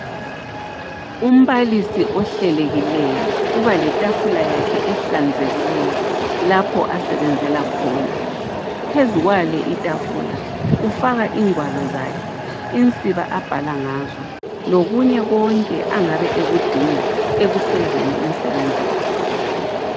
Umbalisi ohlelekileyo, uba letafula yakhe ehlanzekileyo lapho asebenzela khona. Phezu kwale itafula ufaka ingwalo zakhe, insiba abhala ngazo lokunye konke angabe ekudinga ekufezeni umsebenzi wakhe